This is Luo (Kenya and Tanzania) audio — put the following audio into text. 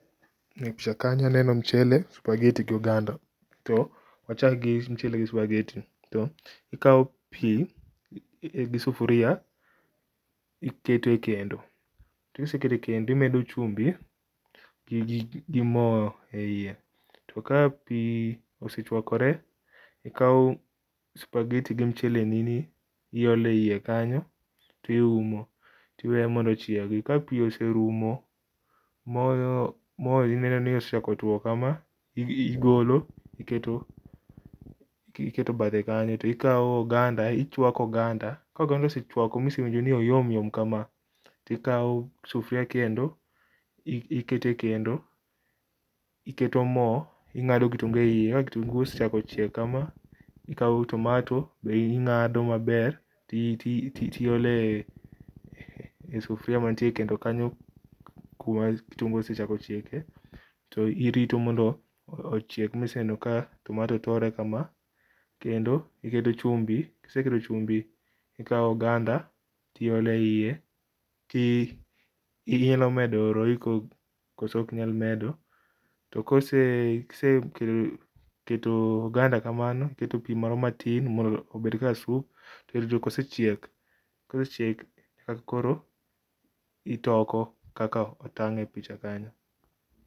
E picha kanyo aneno mchele, spaghetti gi oganda. Wachak gi mchele gi spaghetti. Ikaw pii gi sufuria iketo e kendo, kiseketo e kendo iketo chumbi gi moo e iye, ka pii osechwakore tikaw spaghetti gi mchele ni ni iole iye kanyo to iumo tiweyo mondo ochiegi, ka pii oserumo ma ineno ni osechako two kama igolo iketo bath ekanyo, to ikaw oganda, ichwako oganda, ka oganda osechwako miwinjo ni oyom yom kama, tikaw sufria kendo iketo e kendo ,iketo moo ingado kitungu eiye, ka kitungu osechako chiek kama tikaw tomato be ingado maber o iole sufria manie kendo kanyo kuma kitungu osechako chieke to irito mondo ochieg mine ka tomato tore kama kendo iketo chumbi, kiseketo chumbi to ikaw oganda tiole iye kinyalo medo royco koso ok inyal medo, to kose kise keto oganda kamano tiketo pii moro matin mondo obedga sup, kosechiek ka koro itoko kaka otang e picha kanyo